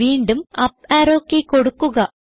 വീണ്ടും up arrow key കൊടുക്കുക